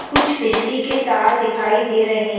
कुछ बिजली के तार दिखाई दे रहे।